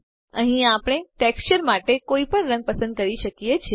અહીં આપણે ટેક્સચર માટે કોઈપણ રંગ પસંદ કરી શકિયે છે